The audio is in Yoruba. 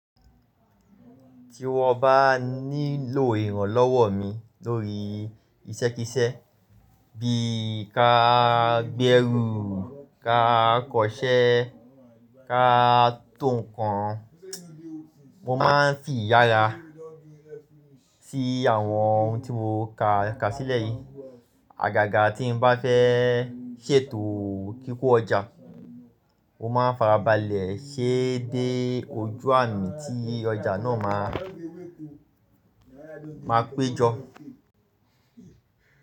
Tí wọ́n bá nílò ìrànlọ́wọ́ mi lórí iṣẹ́kíṣẹ́ bí i ká gbẹ́rù, ká kọṣẹ́, ká tòun kan, mo máa ń fìyára sí àwọn ohun tí mo kà kà sílẹ̀ yìí. Àgàgà tí n bá fẹ́ ṣètò kíkọ ọjà, mo máa farabalẹ̀ ṣẹ́ dé ojú àmì tí ọjà náà máa, máa péjọ.